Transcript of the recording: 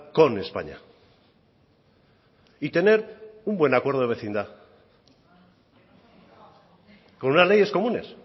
con españa y tener un buen acuerdo de vecindad con unas leyes comunes